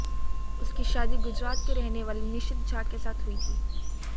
उसकी शादी गुजरात केे रहने वाले निशित झा के साथ हुई थी